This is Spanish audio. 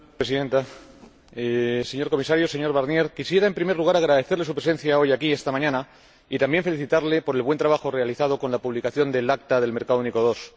Señora Presidenta, señor Comisario Barnier, quisiera, en primer lugar, agradecerle su presencia hoy aquí, esta mañana, y también felicitarle por el buen trabajo realizado con la publicación del Acta del Mercado Único II.